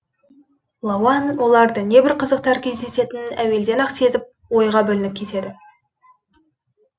лауан оларды не бір қызықтар кездесетінін әулден ақ сезіп ойға бөленіп кетеді